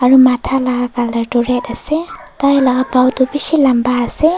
Aro matha la colour tuh red ase taila gao tuh beshi lamba ase.